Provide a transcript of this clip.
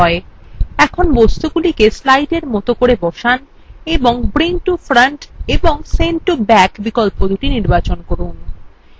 এখন বস্তুগুলিকে slides এর মত করে বসান এবং bring to front এবং send to back বিকল্প দুটি নির্বাচন করুন